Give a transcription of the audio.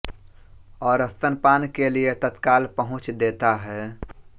और स्तनपान के लिए तत्काल पहुँच देता है